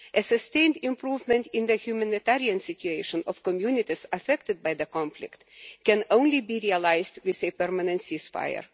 A sustained improvement in the humanitarian situation of the communities affected by the conflict can only be realised with a permanent ceasefire.